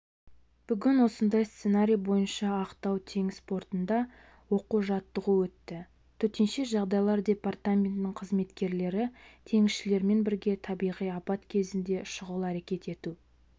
бүгін осындай сценарий бойынша ақтау теңіз портында оқу-жаттығу өтті төтенше жағдайлар департаментінің қызметкерлері теңізшілермен бірге табиғи апат кезінде шұғыл әрекет ету